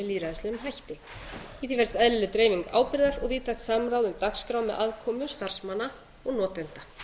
lýðræðislegum hætti í því felst eðlileg dreifing ábyrgðar og víðtækt samráð um dagskrá með aðkomu starfsmanna og notenda